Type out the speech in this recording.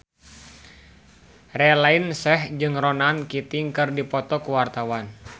Raline Shah jeung Ronan Keating keur dipoto ku wartawan